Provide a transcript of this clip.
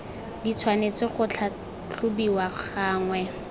di tshwanetse go tlhatlhobiwa gangwe